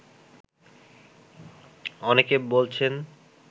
অনেকে বলছেন